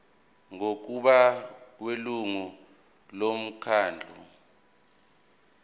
ngokubona kwelungu lomkhandlu